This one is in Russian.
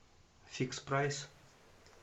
фикспрайс